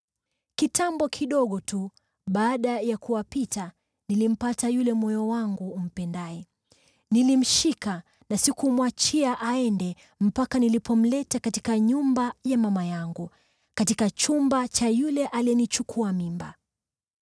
Kitambo kidogo tu baada ya kuwapita nilimpata yule moyo wangu umpendaye. Nilimshika na sikumwachia aende mpaka nilipomleta katika nyumba ya mama yangu, katika chumba cha yule aliyenichukua mimba.